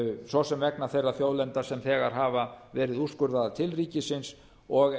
svo sem vegna þeirra þjóðlenda sem þegar hafa verið úrskurðaðar til ríkisins og